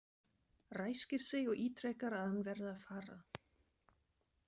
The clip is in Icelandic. Ræskir sig og ítrekar að hann verði að fara.